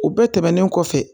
U bɛɛ tɛmɛnen kɔfɛ